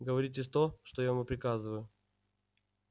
говорите то что я вам приказываю